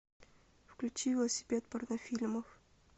включи велосипед порнофильмов